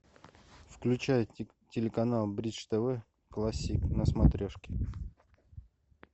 включай телеканал бридж тв классик на смотрешке